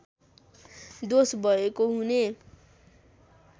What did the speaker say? दोष भएको हुने